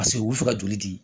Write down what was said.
Paseke u bɛ fɛ ka joli di